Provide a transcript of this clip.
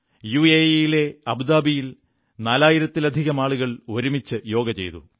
യുഎഇയിലെ അബുദാബിയിൽ നാലായിരത്തിലധികം ആളുകൾ ഒരുമിച്ച് യോഗ ചെയ്തു